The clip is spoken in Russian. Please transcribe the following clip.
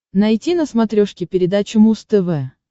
найти на смотрешке передачу муз тв